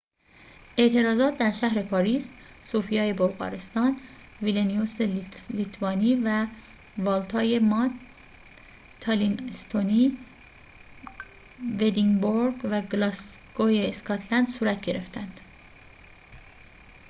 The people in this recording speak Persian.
اعتراضات در شهر پاریس صوفیای بلغارستان ویلنیوس لیتوانی والتای مالت تالین استونی و ادینبورگ و گلاسگوی اسکاتلند صورت گرفتند